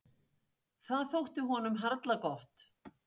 Það þótti honum harla gott.